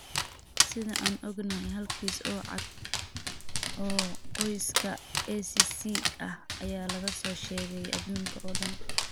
Sida aan ognahay, hal kiis oo cad oo qoyska ACC ah ayaa laga soo sheegay adduunka oo dhan.